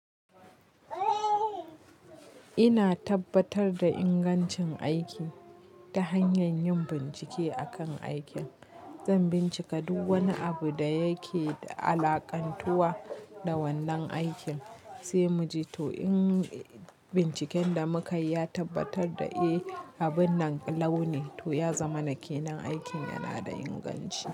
Ina tabbatar da ingancin aiki ta hanyar yin bincike akan aikin. Zan bincika duk wani abu da yake alƙantuwa da wannan aikin, sai mu ji to in binciken da muka yi ya tabbatar da eh, abun nan launin, to ya zama na ƙenan aikin yana da inganci.